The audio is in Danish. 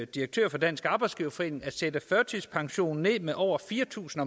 direktør for dansk arbejdsgiverforening at sætte førtidspensionen ned med over fire tusind